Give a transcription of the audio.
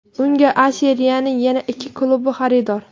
Unga A Seriyaning yana ikki klubi xaridor.